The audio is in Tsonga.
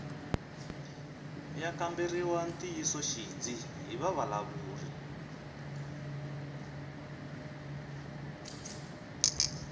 ya kamberiwa ntiyisoxidzi hi vavulavuri